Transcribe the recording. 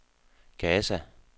Gaza